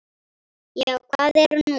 Já, hvað er nú?